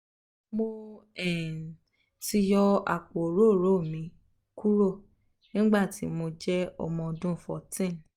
mo um ti yọ apo orooro mi kuro nigbati mo jẹ ọmọ ọdun fourteen